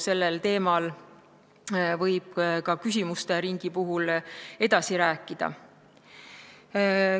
Sellel teemal võib ka küsimuste ringis edasi rääkida.